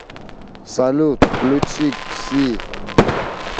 салют включи кси